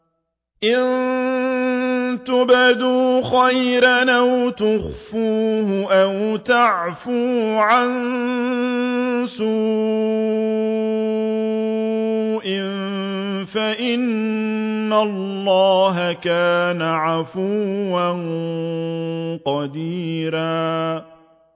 إِن تُبْدُوا خَيْرًا أَوْ تُخْفُوهُ أَوْ تَعْفُوا عَن سُوءٍ فَإِنَّ اللَّهَ كَانَ عَفُوًّا قَدِيرًا